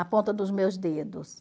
A ponta dos meus dedos.